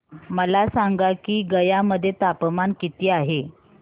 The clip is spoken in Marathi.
मला सांगा की गया मध्ये तापमान किती आहे